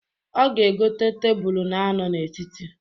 O ga-egota tebulu na-anọ n'etiti.